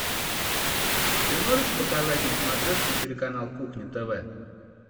ты можешь показать на смотрешке телеканал кухня тв